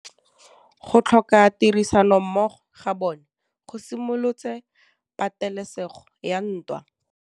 Go tlhoka tirsanommogo ga bone go simolotse patêlêsêgô ya ntwa.